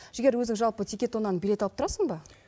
жігер өзің жалпы тикетоннан билет алып тұрасың ба